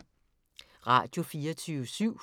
Radio24syv